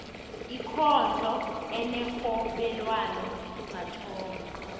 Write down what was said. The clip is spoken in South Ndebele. ikondlo enerhobelwano mathomo